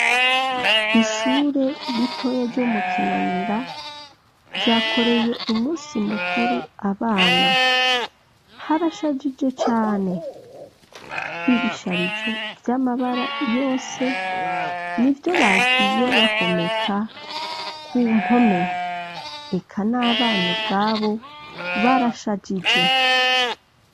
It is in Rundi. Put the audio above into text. Ishure ritoya ryo mu Kinanira ryakoreye umusi mukuru abana, harashajije cane, ibisharizo vy'amabara yose n'ivyo bagiye bahomeka ku mpome eka n'abana ubwabo barashajije.